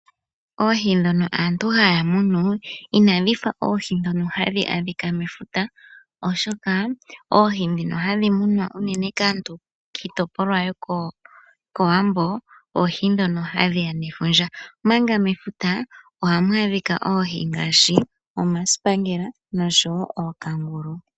Oohi dhono aantu haya munu inadhi fa oohi dhono hadhi adhika mefuta, oshoka oohi dhono hadhi munwa kaantu kiitopolwa yokowambo oohi dhono hadhi ya nefundja, omanga mefuta ohamu adhika oohi ngaashi omasipangela nosho woo ookangulu.